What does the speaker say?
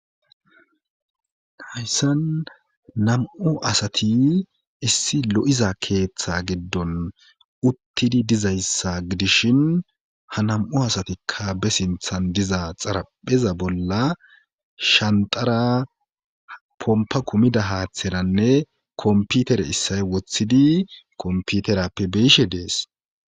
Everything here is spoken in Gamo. hayssan nam7u asati issi lo7iza keeththe giddon uttidi dizayssa gidishin ha nam7u asatikka be sinthan diza xarapheza bolla shantara pompa kumida haaththeranne komputere issay wothidi komputerappe beishe dees